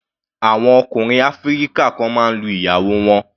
Àwọn ọkùnrin áfíríkà kan máa ń lu ìyàwó wọn.